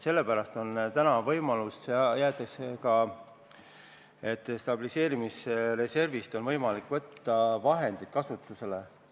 Sellepärast jäetakse täna ka see võimalus, et stabiliseerimisreservist oleks võimalik vahendeid kasutusele võtta.